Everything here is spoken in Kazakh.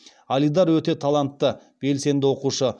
алидар өте талантты белсенді оқушы